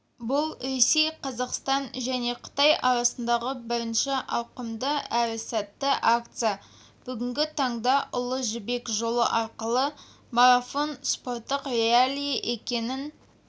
бұл ресей қазақстан және қытай арасындағы бірінші ауқымды әрі сәтті акция бүгінгі таңда ұлы жібек жолы арқылы марафон спорттық реалий екенін